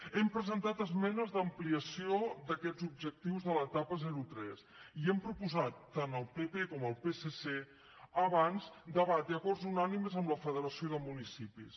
hem presentat esmenes d’ampliació d’aquests objectius de l’etapa zero tres i hem proposat tant al pp com al psc abans debat i acords unànimes amb la federació de municipis